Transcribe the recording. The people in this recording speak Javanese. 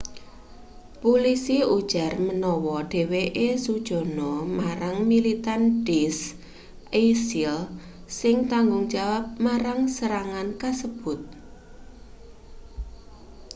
pulisi ujar manawa dheweke sujana marang militan daesh isil sing tanggungjawab marang serangan kasebut